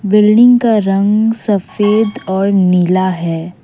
Building का रंग सफेद और नीला है।